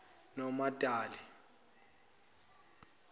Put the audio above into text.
nomadali